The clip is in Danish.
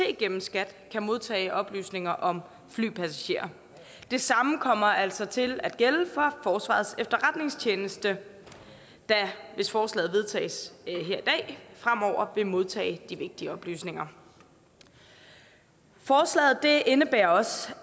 gennem skat kan modtage oplysninger om flypassagerer det samme kommer altså til at gælde for forsvarets efterretningstjeneste der hvis forslaget vedtages fremover vil modtage de vigtige oplysninger forslaget indebærer også